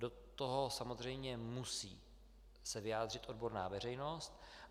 Do toho samozřejmě se musí vyjádřit odborná veřejnost.